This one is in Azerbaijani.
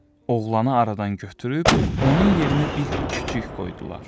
Oğlanı aradan götürüb onun yerinə bir küçük qoydular.